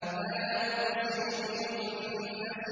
فَلَا أُقْسِمُ بِالْخُنَّسِ